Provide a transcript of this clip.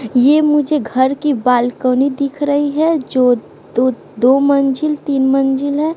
यह मुझे घर की बालकनी दिख रही है जो दो दो मंजिल तीन मंजिल है।